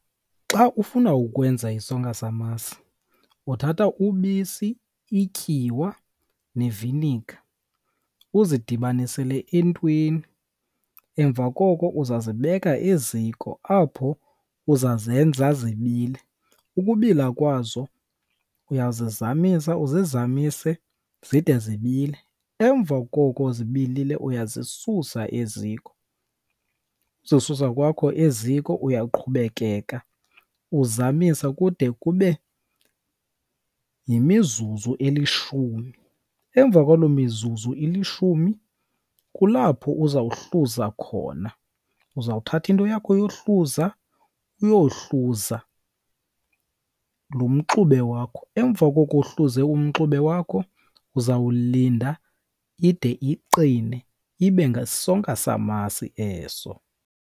Xa ufuna ukwenza isonka samasi uthatha ubisi, ityiwa neviniga uzidibanisele entweni. Emva koko uzazibeka eziko apho uzazenza zibile. Ukubila kwazo uyazizamisa uzizamise zide zibile, emva koko zibilile uyazisusa eziko. Uzisusa kwakho eziko uyaqhubekeka uzamisa kude kube yimizuzu elishumi. Emva kwaloo mizuzu ilishumi kulapho uzawuhluza khona. Uzawuthatha into yakho yohluza uyohluza lo mxube wakho. Emva koko uhluze umxube wakho uzawulinda ide iqine, ibe ngesonka samasi eso.